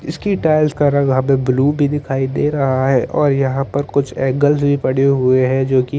इसकी टाइल्स का रंग यहाँ पे ब्लू भी दिखाई दे रहा है और यहाँ पे कुछ एंगल्स यह पड़े हुए है जोकि--